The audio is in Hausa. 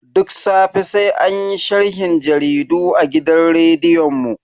Duk safe sai anyi sharhin jaridu a gidan rediyon mu.